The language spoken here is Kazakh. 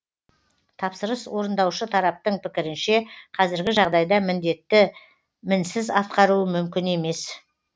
тапсырыс орындаушы тараптың пікірінше қазіргі жағдайда міндетті мінсіз атқару мүмкін емес